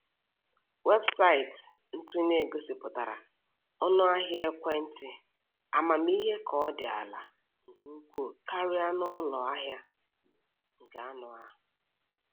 Weebụsaịtị ntụnye gosipụtara ọnụ ahịa ekwentị amamihe ka ọ dị ala nke ukwuu karịa na ụlọ ahịa nke anụ ahụ.